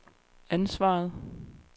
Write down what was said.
ansvaret